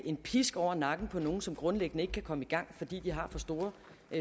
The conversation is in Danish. en pisk over nakken på nogle som grundlæggende ikke kan komme i gang fordi de har for store